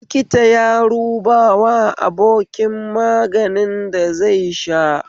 Likita ya rubawa abokin maganin da zai sha